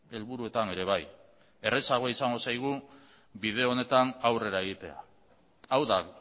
helburuetan ere bai errazagoa izango zaigu bide honetan aurrera egitea hau da